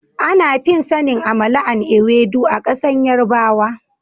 Ana fi sanin " amala and ewedu " a kasan yarbawa.